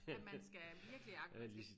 Ja man skal virkelig argumentere